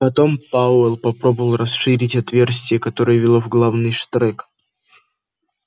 потом пауэлл попробовал расширить отверстие которое вело в главный штрек